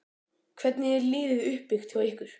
Hvernig er liðið uppbyggt hjá ykkur?